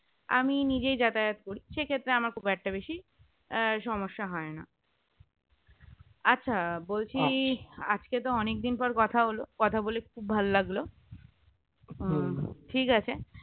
আমি নিজেই যাতায়াত করি সে ক্ষেত্রে আমার খুব একটা বেশি সমস্যা হয় না আচ্ছা বলছি আজকে তো অনেকদিন পর কথা হল কথা বলে খুব ভালো লাগলো ঠিক আছে